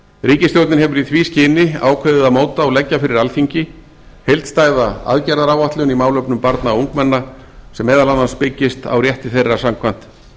ríkisstjórnin hefur í því skyni ákveðið að móta og leggja fyrir alþingi heildstæða aðgerðaráætlun í málefnum barna og ungmenna sem meðal annars byggist á rétti þeirra samkvæmt